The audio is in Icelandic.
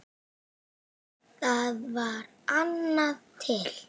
Það þarf annað til.